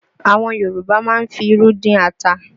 Àwọn Yorùbá máa ń fi irú dín ata